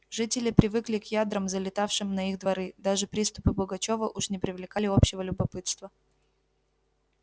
жители привыкли к ядрам залетавшим на их дворы даже приступы пугачёва уж не привлекали общего любопытства